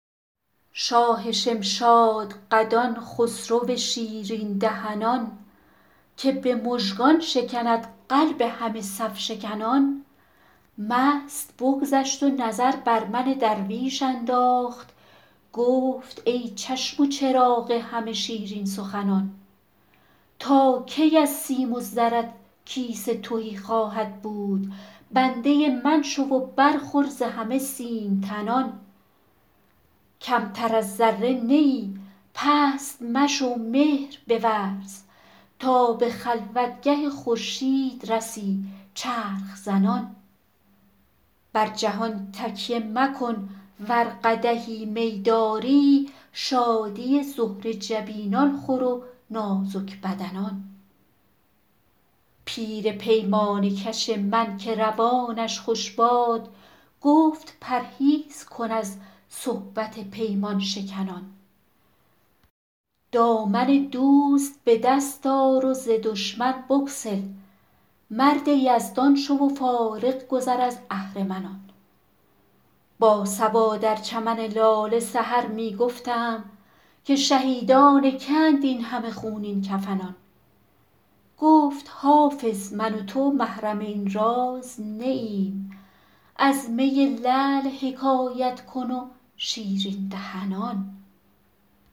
شاه شمشادقدان خسرو شیرین دهنان که به مژگان شکند قلب همه صف شکنان مست بگذشت و نظر بر من درویش انداخت گفت ای چشم و چراغ همه شیرین سخنان تا کی از سیم و زرت کیسه تهی خواهد بود بنده من شو و برخور ز همه سیم تنان کمتر از ذره نه ای پست مشو مهر بورز تا به خلوتگه خورشید رسی چرخ زنان بر جهان تکیه مکن ور قدحی می داری شادی زهره جبینان خور و نازک بدنان پیر پیمانه کش من که روانش خوش باد گفت پرهیز کن از صحبت پیمان شکنان دامن دوست به دست آر و ز دشمن بگسل مرد یزدان شو و فارغ گذر از اهرمنان با صبا در چمن لاله سحر می گفتم که شهیدان که اند این همه خونین کفنان گفت حافظ من و تو محرم این راز نه ایم از می لعل حکایت کن و شیرین دهنان